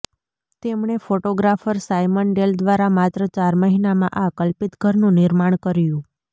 તેમણે photographer Simon Dale દ્વારા માત્ર ચાર મહિનામાં આ કલ્પિત ઘરનું નિર્માણ કર્યું